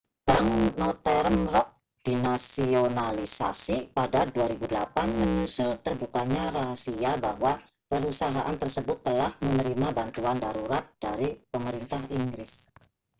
bank northern rock dinasionalisasi pada 2008 menyusul terbukanya rahasia bahwa perusahaan tersebut telah menerima bantuan darurat dari pemerintah inggris